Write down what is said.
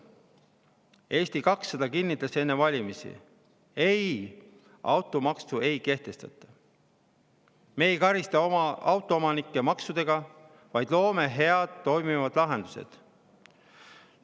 Eesti 200 kinnitas enne valimisi, et ei, automaksu ei kehtestata, me ei karista oma autoomanikke maksudega, vaid loome head, toimivad lahendused.